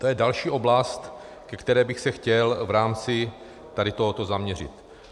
To je další oblast, ke které bych se chtěl v rámci tady tohoto zaměřit.